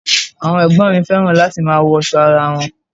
Àwọn ẹ̀gbọ́n mi fẹ́ràn láti máa wọṣọ ara won.